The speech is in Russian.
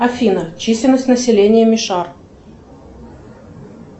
афина численность населения мишар